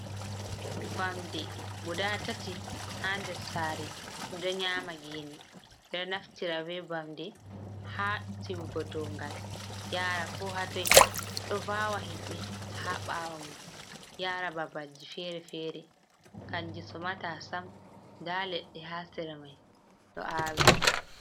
Vamde guda tati ha nder sare ɗi ɗo nyama gene. Ɓeɗo naftira be vamde ha tirigo dongal yara ko hatoi, ɗo vawa himɓe ha ɓawo mun yara babalji fere-fere. Kanji somata sam. Nda leɗɗe ha sera mai ɗo awi.